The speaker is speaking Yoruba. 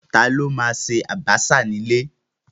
Ta ló ma ṣe àbàṣà ní ilé?